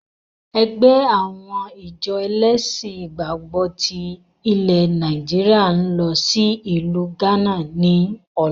Ẹgbẹ́ àwọn ìjọ ẹlẹ́ṣin ìgbàgbọ́ tí ilẹ̀ Nàìjíríà ń lọ sí ìlú gánà ni ọ̀la